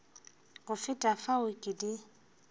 go feta fao ke di